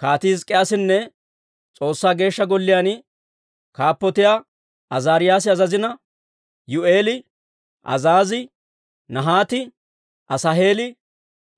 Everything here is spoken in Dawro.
Kaatii Hizk'k'iyaasinne S'oossaa Geeshsha Golliyaan kaappotiyaa Azaariyaasi azazina, Yihi'eeli, Azaazii, Nahaati, Asaaheeli,